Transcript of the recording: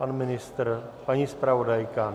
Pan ministr, paní zpravodajka?